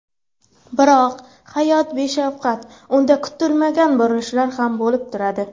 Biroq hayot beshafqat, unda kutilmagan burilishlar ham bo‘lib turadi.